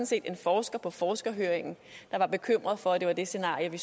set en forsker på forskerhøringen der var bekymret for at det var det scenario vi